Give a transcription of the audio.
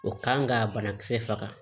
O kan ka banakisɛ faga